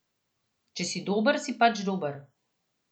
Če si dober, si pač dober.